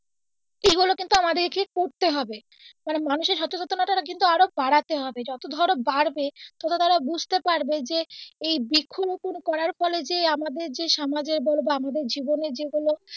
সেটা কিন্তু আমাদেরকে করতে হবে কারন মানুষের সচেতনতাটা কিন্তু আরও বাড়াতে হবে যত ধরো বাড়বে ততো তারা বুঝতে পারবে যে এই বৃক্ষ রোপণ করার ফলে যে আমাদের যে আমাদ্রর সমাজের যেগুলো বা আমাদের জীবনের যেগুলো,